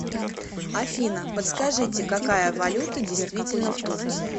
афина подскажите какая валюта действительна в турции